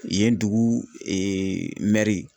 Yen dugu eee mɛri